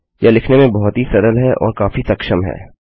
यह लिखने में बहुत ही सरल है और काफी सक्षम है